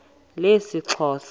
lesixhosa